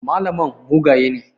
Malaman mugaye ne.